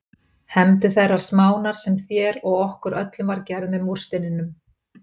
Hefndu þeirrar smánar sem þér og okkur öllum var gerð með múrsteininum.